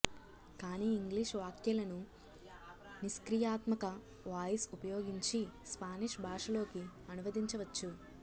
కానీ ఇంగ్లీష్ వాక్యాలను నిష్క్రియాత్మక వాయిస్ ఉపయోగించి స్పానిష్ భాషలోకి అనువదించవచ్చు